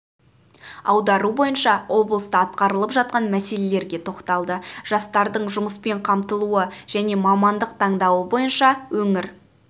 аудару бойынша облыста атқарылып жатқан мәселелерге тоқталды жастардың жұмыспен қамтылуы және мамандық таңдауы бойынша өңір